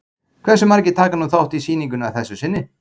Hversu margir taka nú þátt í sýningunni að þessu sinni?